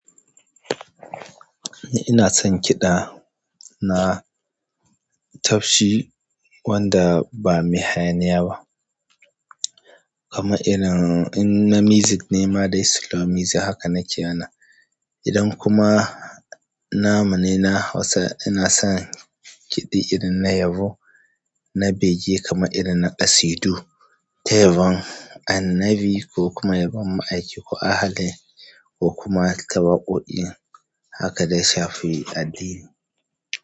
Ina son kiɗa na tafshi wanda ba mai hayaniya ba, kamar irin na music nema dai slow music haka nake wanan. Idan kuma na namune na Hausa ina son kiɗi irin na yabo, na bege kamar irin na ƙasidu, ta yabon annabi ko kuma yabon ma'aiki, ko ahali ko kuma ta waƙoƙi haka da ya shafi addini.